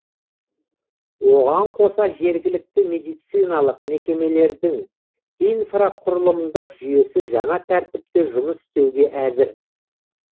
оған қоса жергілікті медициналық мекемелердің инфрақұрылымдық жүйесі жаңа тәртіпте жұмыс істеуге әзір